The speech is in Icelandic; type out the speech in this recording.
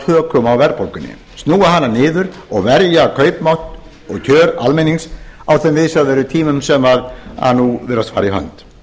tökum á verðbólgunni snúa hana niður og verja kaupmátt og kjör almennings á þeim viðsjárverðu tímum sem nú virðast fara í hönd